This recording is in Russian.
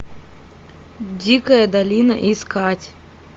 дикая долина искать